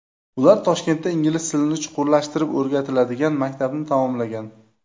Ular Toshkentda ingliz tilini chuqurlashtirib o‘rgatiladigan maktabni tamomlagan.